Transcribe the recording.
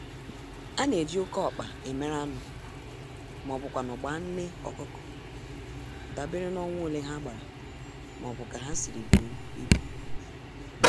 Ana-eji oké-ọkpa emere anụ, m'ọbu kwanụ gbaa nné ọkụkọ, dabeere n'ọnwa ole ha gbara m'obu ka ha siri buo ibu.